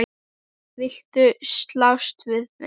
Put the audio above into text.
Viltu slást við mig?